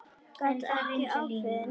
Gat ekki ákveðið neitt.